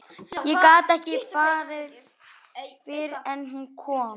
Ég gat ekki farið fyrr en hún kom.